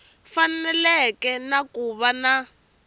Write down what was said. faneleke na ku va na